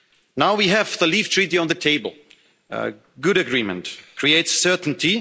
Now we have the Leave Treaty on the table a good agreement which creates certainty.